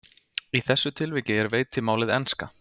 Í þessu tilviki er veitimálið enska.